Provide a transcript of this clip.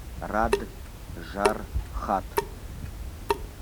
раджархат